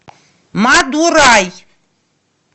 мадурай